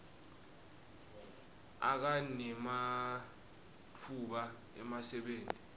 akha nematfuba emsebenti